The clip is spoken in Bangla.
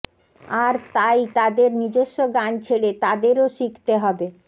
আর তাই তাদের নিজস্ব গান ছেড়ে তাদেরও শিখতে হবে